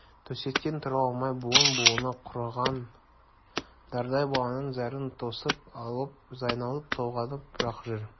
төсектен тұра алмай буын-буыны құрыған дардай баланың зәрін тосып алып айналып-толғанып-ақ жүр